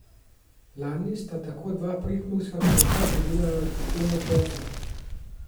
Lani sta tako dva prekmurska kmeta pridelala tono česna.